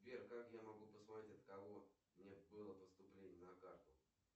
сбер как я могу посмотреть от кого мне было поступление на карту